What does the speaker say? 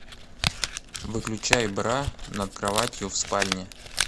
выключай бра над кроватью в спальне